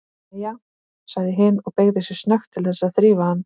Jæja, sagði hin og beygði sig snöggt til þess að þrífa hann.